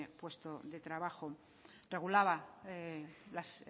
puesto de trabajo regulaba las